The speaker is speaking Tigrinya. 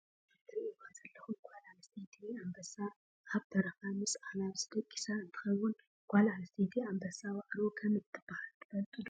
እዚ እትሪእዎ ዘለኹም ጋል አንስተይቲ ኣንበሳ ኣብ በረኻ ምስ ኣናብስ ደቂሳ እንትኸውን ጓል ኣንስተይቲ ኣንበሳ ዋእሮ ከም እትብሃል ትፈልጡ ዶ?